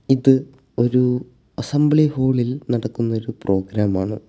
ഇത് ഒരു അസംബ്ലി ഹാളിൽ നടക്കുന്നൊരു പ്രോഗ്രാം ആണ്.